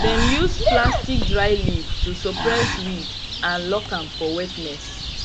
dem use platstic dryleaf to suppress weed and lock am for wetness